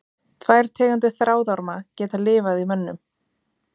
Tvær tegundir þráðorma geta lifað í mönnum.